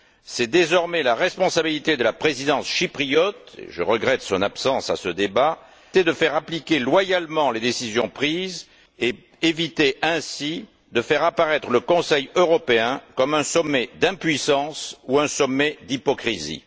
C'est désormais la responsabilité de la présidence chypriote et je regrette son absence à ce débat de faire appliquer loyalement les décisions prises et d'éviter ainsi de faire apparaître le Conseil européen comme un sommet d'impuissance ou un sommet d'hypocrisie.